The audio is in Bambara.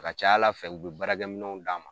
A ka ca Ala fɛ u bɛ baarakɛ minɛnw d'an ma.